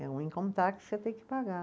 É um que você tem que pagar.